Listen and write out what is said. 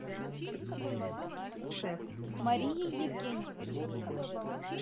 марией евгеньевной